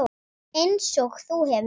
Einsog þú hefur.